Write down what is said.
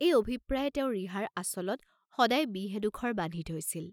এই অভিপ্ৰায়ে তেওঁ ৰিহাৰ আচলত সদাই বিহ এডোখৰ বান্ধি থৈছিল।